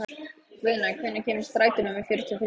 Guðna, hvenær kemur strætó númer fjörutíu og þrjú?